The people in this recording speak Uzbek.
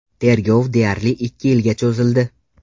Tergov deyarli ikki yilga cho‘zildi.